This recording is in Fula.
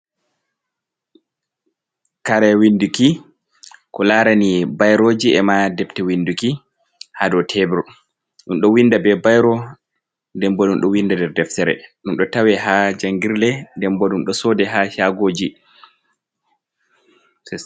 Kare winduki ko larani biroji, e ma debte winduki, ha dou tebr ɗum ɗo winda be bairo, den bo ɗum ɗo winda nder deftere, ɗum ɗo tawe ha jangirle den bo ɗum ɗo soda ha shagoji.